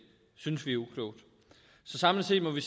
synes vi er uklogt samlet set må vi